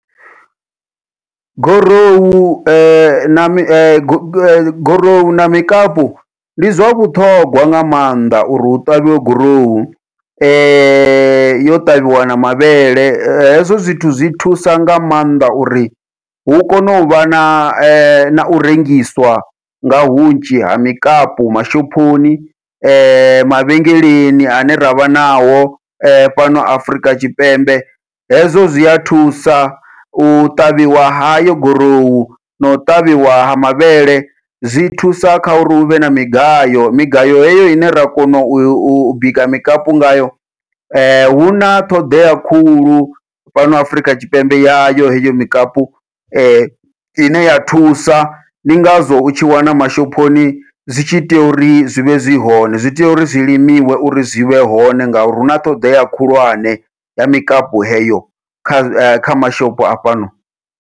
Gorohu na mi gorohu na mikapu ndi zwa vhuṱhogwa nga maanḓa uri hu ṱavhiwe gurowu, yo ṱavhiwa na mavhele hezwo zwithu zwi thusa nga maanḓa uri hu kone uvha na nau rengiswa nga hunzhi ha mikapu mashophoni, mavhengeleni ane ravha nao fhano Afurika Tshipembe hezwo zwia thusa u ṱavhiwa hayo gurowu nau ṱavhiwa ha mavhele zwi thusa kha uri huvhe na migayo migayo heyo ine ra kona u bika mikapu ngayo huna ṱhoḓea khulu fhano Afurika Tshipembe yayo heyo mikapu, ine ya thusa ndi ngazwo u tshi wana mashophoni zwi tshi tea uri zwivhe zwi hone zwi tea uri zwi limiwe uri zwivhe hone ngauri huna ṱoḓea khulwane ya mikapu heyo kha kha mashopo a fhano.